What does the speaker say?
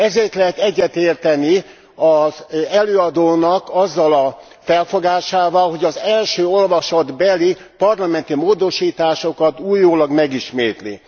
Ezért lehet egyetérteni az előadónak azzal a felfogásával, hogy az első olvasatbeli parlamenti módosításokat újólag megismétli.